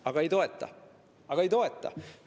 Aga ei toeta, aga ei toeta.